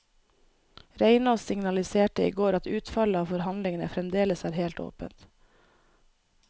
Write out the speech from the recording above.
Reinås signaliserte i går at utfallet av forhandlingene fremdeles er helt åpent.